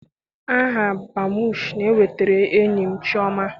Aha Badmụs na-ewetara enyi m chioma.